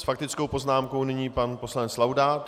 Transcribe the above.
S faktickou poznámkou nyní pan poslanec Laudát.